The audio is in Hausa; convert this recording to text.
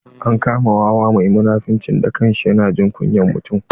An kama wawa mai munafunci da kashi na jikin mutum.